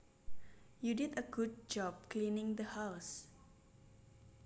You did a good job cleaning the house